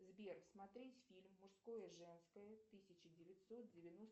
сбер смотреть фильм мужское женское тысяча девятьсот девяносто